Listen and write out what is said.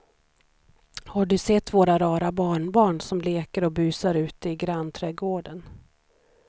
Har du sett våra rara barnbarn som leker och busar ute i grannträdgården!